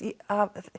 af